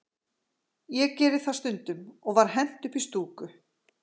Ég geri það stundum, og var hent upp í stúku.